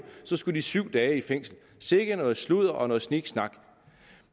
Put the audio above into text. så skulle de syv dage i fængsel sikke noget sludder og sniksnak